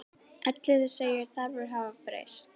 Elliði segir þarfir hafa breyst.